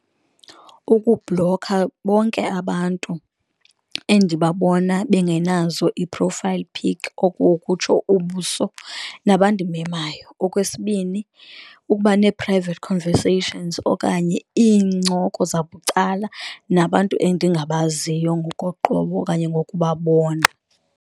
Ukublokha bonke abantu endibabona bengenazo ii-profile pic, oko ukutsho ubuso nabandimemayo. Okwesibini, ukuba ne-private conversations okanye iincoko zabucala nabantu endingabaziyo ngokoqobo okanye ngokubabona.